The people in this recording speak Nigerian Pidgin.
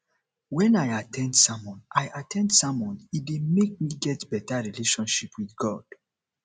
when i at ten d sermon i at ten d sermon e dey make me get better relationship with god